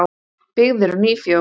Byggð eru ný fjós.